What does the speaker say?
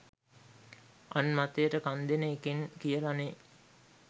අන් මතයට කන් දෙන එකෙක් කියලනේ